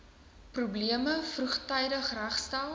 probleme vroegtydig regstel